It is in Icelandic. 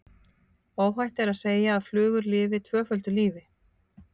Óhætt er að segja að flugur lifi tvöföldu lífi.